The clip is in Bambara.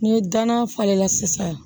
N'i ye danna falen la sisan